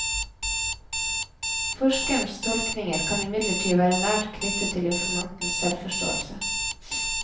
Forskerens tolkninger kan imidlertid være nært knyttet til informantens selvforståelse.